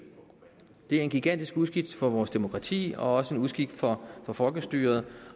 det er en gigantisk uskik for vores demokrati og også en uskik for for folkestyret